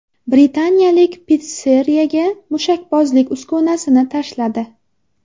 Britaniyalik pitsseriyaga mushakbozlik uskunasini tashladi .